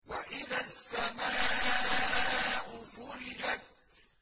وَإِذَا السَّمَاءُ فُرِجَتْ